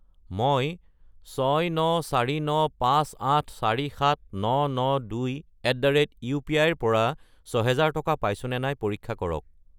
মই 69495847992@upi ৰ পৰা 6000 টকা পাইছোনে নাই পৰীক্ষা কৰক।